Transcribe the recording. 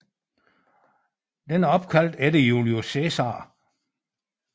Den er opkaldt efter Julius Cæsar